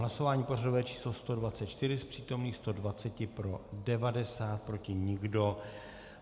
Hlasování pořadové číslo 124, z přítomných 120 pro 90, proti nikdo.